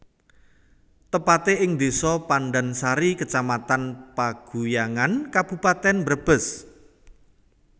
Tepate ing Desa Pandansari Kecamatan Paguyangan Kabupaten Brebes